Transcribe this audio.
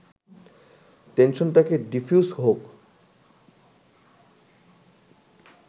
টেনশনটাকে diffuse হোক